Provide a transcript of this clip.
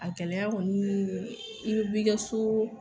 A gɛlɛya kɔni i be b'i ka so